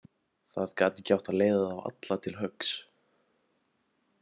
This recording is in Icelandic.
Það gat ekki átt að leiða þá alla til höggs.